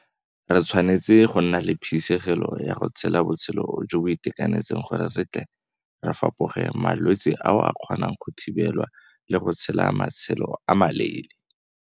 Re tshwanetse go nna le phisegelo ya go tshela botshelo jo bo itekanetseng gore re tle re fapoge malwetse ao a kgonang go thibelwa le go tshela matshelo a maleele.